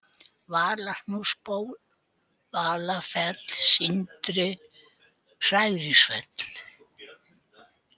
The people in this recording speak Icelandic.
Valahnúksból, Valafell, Sindri, Hæringsfell